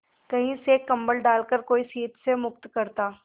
कहीं से एक कंबल डालकर कोई शीत से मुक्त करता